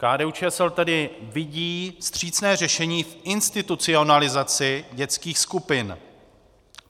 KDU-ČSL tedy vidí vstřícné řešení v institucionalizaci dětských skupin.